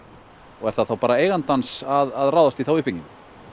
og er það bara eigandans að ráðast í þá uppbyggingu